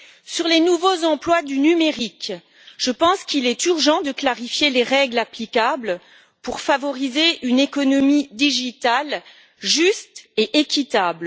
Sur les nouveaux emplois du numérique, je pense qu'il est urgent de clarifier les règles applicables pour favoriser une économie du numérique qui soit juste et équitable.